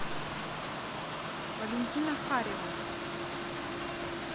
валентина харева